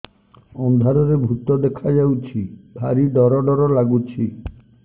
ଅନ୍ଧାରରେ ଭୂତ ଦେଖା ଯାଉଛି ଭାରି ଡର ଡର ଲଗୁଛି